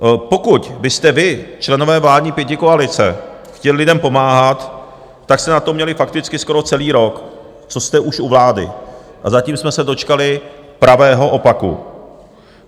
Pokud byste vy, členové vládní pětikoalice, chtěli lidem pomáhat, tak jste na to měli fakticky skoro celý rok, co jste už u vlády, a zatím jsme se dočkali pravého opaku.